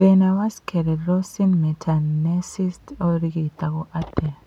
Thĩna wa sclerosing mesenteritis ũngĩrigitwo atĩa?